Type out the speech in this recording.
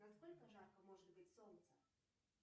на сколько жарко может быть солнце